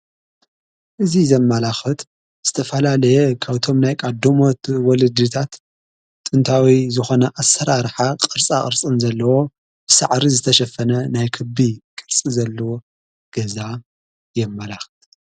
እዙ ዘመላኽት ዝተፋላለየ ካብቶም ናይ ቃዶሞት ወለድታት ጥንታዊ ዝኾነ ኣሠራርሓ ቕርፃ ቕርጽን ዘለዎ ብሳዕሪ ዝተሸፈነ ናይ ክቢ ቕርጽ ዘለዎ ገዛ የመላኽት።